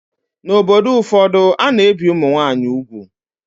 N'obodo ụfọdụ, a na-ebi ụmụ nwaanyị úgwù